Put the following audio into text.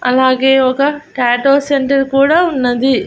అలాగే ఒక tattoo centre కూడా ఉన్నది.